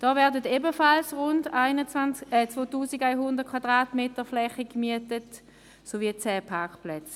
Auch hier wird eine Fläche von rund 2100 m gemietet sowie zehn Parkplätze.